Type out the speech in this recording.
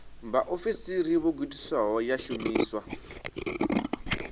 vhaofisiri vho gudisiwaho ya shumiswa